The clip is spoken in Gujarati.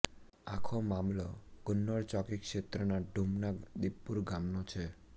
આખો મામલો ગુંનોર ચોકી ક્ષેત્રના ઢૂમના દીપપુર ગામનો છે